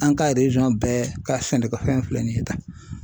An ka bɛɛ ka sɛnɛkɛfɛn filɛ nin ye tan.